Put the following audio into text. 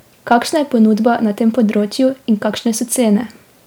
Kakšna je ponudba na tem področju in kakšne so cene?